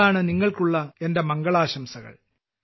അതാണ് നിങ്ങൾക്കുള്ള എന്റെ മംഗളാശംസകൾ